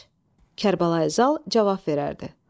Kərbəlayı Zal cavab verərdi.